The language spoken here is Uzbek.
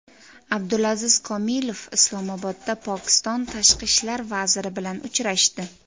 Abdulaziz Komilov Islomobodda Pokiston tashqi ishlar vaziri bilan uchrashdi.